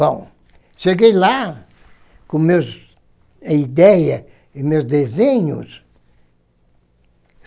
Bom, cheguei lá com minhas ideias e meus desenhos.